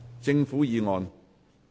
政府議案。